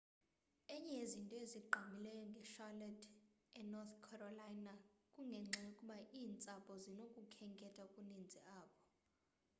enye yezinto ezigqamileyo nge-charlotte e-north carolina kungenxa yokuba iintsapho zinokukhetha okuninzi apho